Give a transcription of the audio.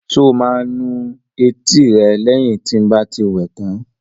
Ṣé o máa nu etí rẹ lẹ́yìn tí n bá ti wẹ tán?